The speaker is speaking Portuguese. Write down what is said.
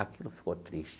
Aquilo ficou triste.